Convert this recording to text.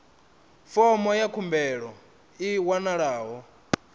fomo ya khumbelo i wanalaho